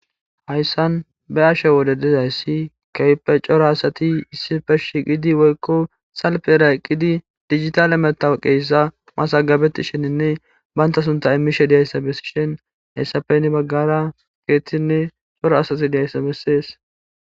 hayssan ba7ashe wode dizayssi kewpe coro asati issife shiqidi woykko salpera eqqidi digitale metaw qeeyssa masagabetti shininne baynta sunta imishe diyayssa bessishin hayssapenni baggara keettinne coro asati diyayssa bessees